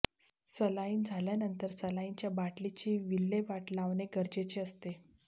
saline झाल्यानंतर सलाइनच्या बाटलीची विल्हेवाट लावणे गरजेचे असते